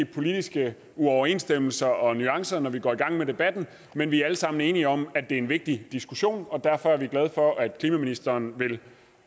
politiske uoverensstemmelser og nuancer når vi går i gang med debatten men vi er alle sammen enige om at der en vigtig diskussion og derfor er vi glade for at klimaministeren vil